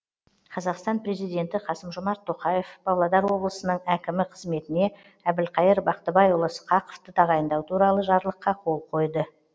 қазақстан президенті қасым жомарт тоқеав павлодар облысының әкімі қызметіне әбілқайыр бақтыбайұлы сқақовты тағайындау туралы жарлыққа қол қойды